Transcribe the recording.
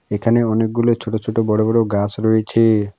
এখানে অনেকগুলো ছোট ছোট বড় বড় গাস রয়েছে।